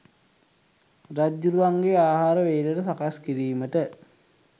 රජ්ජුරුවන්ගේ ආහාර වේලට සකස්කිරීමට